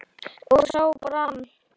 og sá brann